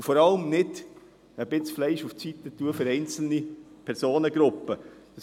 Vor allem sollten wir nicht ein Stück Fleisch für einzelne Personengruppen beiseitelegen.